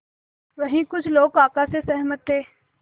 वहीं कुछ लोग काका से सहमत थे